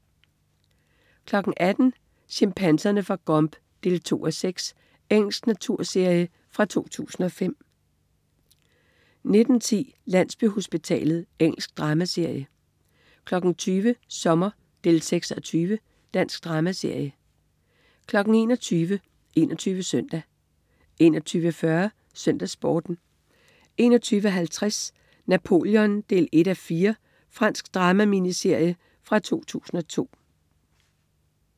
18.00 Chimpanserne fra Gombe 2:6. Engelsk naturserie fra 2005 19.10 Landsbyhospitalet. Engelsk dramaserie 20.00 Sommer 6:20. Dansk dramaserie 21.00 21 Søndag 21.40 SøndagsSporten 21.50 Napoleon 1:4. Fransk drama-miniserie fra 2002